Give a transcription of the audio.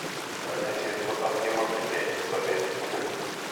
Kanyoiseet kotam kemokyinkee eng' sobeet tugul